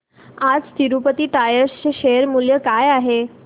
आज तिरूपती टायर्स चे शेअर मूल्य काय आहे